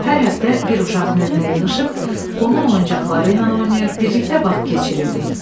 Hər həftə bir uşağın evinə yığışıb, onun oyuncaqları ilə oynayır, birlikdə vaxt keçirirdik.